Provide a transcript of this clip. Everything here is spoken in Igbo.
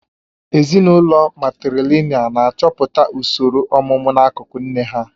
Ezinụlọ matrìlị̀nị́al na-achọpụta usoro ọ̀mụmu n'akụkụ nne ha